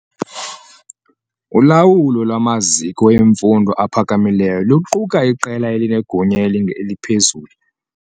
Ulawulo lwamaziko emfundo ephakamileyo luquka iqela elinegunya eliphezulu.